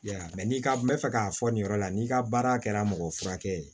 Ya n'i ka n bɛ fɛ k'a fɔ nin yɔrɔ la n'i ka baara kɛra mɔgɔ furakɛ ye